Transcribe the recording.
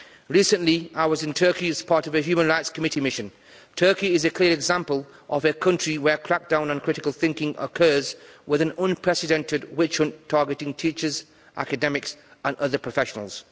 Recently, I was in Turkey as part of a Subcommittee on Human Rights mission. Turkey is a clear example of a country where a crack down on critical thinking occurs with an unprecedented witch hunt targeting teachers, academics and other professionals.